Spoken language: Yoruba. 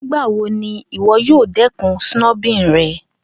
Nigbawo ni iwọ yoo dẹkun snubbing rẹ?